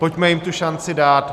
Pojďme jim tu šanci dát.